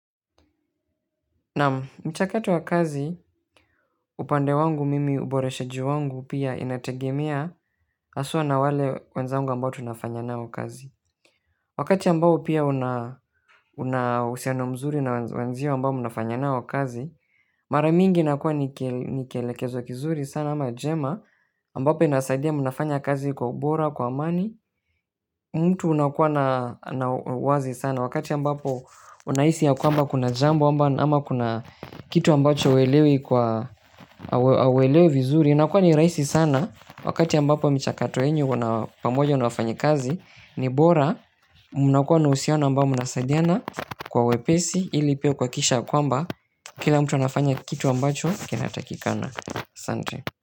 Naam, mchakato wa kazi, upande wangu, mimi uboreshaji wangu pia inategemea hasa na wale wenzangu ambao tunafanya nao kazi. Wakati ambao pia unauhusiano mzuri na wenzio ambao mnafanya nao kazi, mara nyingi inakua nikelekezo kizuri sana ama jema, ambapo inasaidia mnafanya kazi kwa ubora, kwa amani, mtu unakuwa na uwazi sana. Wakati ambapo unahisi ya kwamba kuna jambo ama kuna kitu ambacho huelewi kwa huelewi vizuri inakua ni rahisi sana wakati ambapo mchakato wenu pamoja na wafanyakazi ni bora. Munakua na uhusiano ambapo mnasaidiana kwa wepesi ili pia kuhakikisha kwamba kila mtu anafanya kitu ambacho kinatakikana. Asante.